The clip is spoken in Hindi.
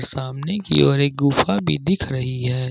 सामने की ओर एक गुफा भी दिख रही है।